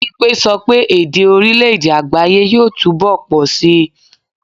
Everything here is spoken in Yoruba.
Bimpe sọ pé èdè orílè-èdè àgbááyé yóò túmọ̀ pọ̀ síi